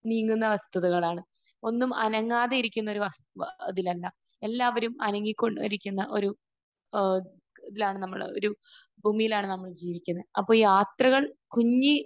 നീങ്ങുന്ന വസ്തുതകളാണ്. ഒന്നും അനങ്ങാതെയിരിക്കുന്ന ഒരു വസ്തു അതിലല്ല. എല്ലാവരും അനങ്ങിക്കൊണ്ടിരുക്കുന്ന ഒരു ഏഹ് ഇതിലാണ് നമ്മൾ ഒരു ഭൂമിയിലാണ് നമ്മൾ ജീവിക്കുന്നത്. അപ്പോൾ യാത്രകൾ കുഞ്ഞി